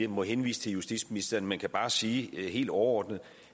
må henvise til justitsministeren men jeg kan bare sige helt overordnet